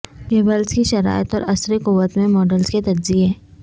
cable کی شرائط اور اثر قوت میں ماڈلز کے تجزیے